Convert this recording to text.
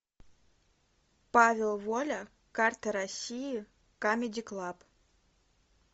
павел воля карта россии камеди клаб